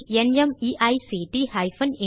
தமிழாக்கம் பிரியா